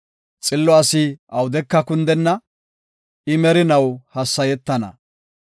Xillo asi awudeka kundenna; I merinaw hassayetana.